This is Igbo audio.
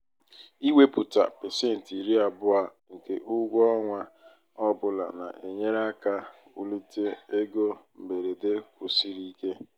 ịwepụta pasentị iri abụọ nke ụgwọ ọnwa ọ bụla na-enyere aka wulite ego mberede kwụsiri ike.